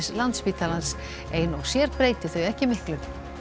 Landspítalans ein og sér breyti þau ekki miklu